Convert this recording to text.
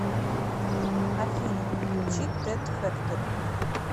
афина включи тед фэктори